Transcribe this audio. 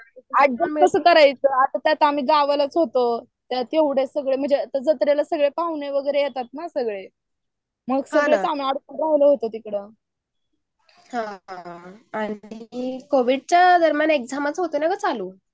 त्यात कसं सगळं आम्ही गावाकडे होतो. जत्रेत पाहुणे वगैरे येतात ना सगळे मग राहिलो होतो तिकडं हा आणि कॅव्हिडच्या दरम्यानन एक्साम होते ना ग चाल्लू